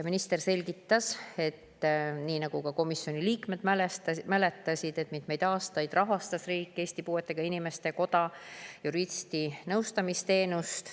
Minister selgitas, nii nagu ka komisjoni liikmed mäletasid, et mitmeid aastaid rahastas riik Eesti Puuetega Inimeste Koja juristi nõustamisteenust.